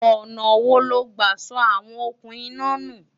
ọ̀nà wo lo gbà sọ àwọn okùn iná nù?